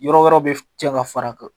Yɔrɔ wɛrɛw bɛ tiɲɛ ka fara a kan